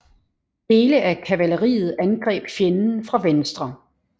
Dele af kavaleriet angreb fjenden fra venstre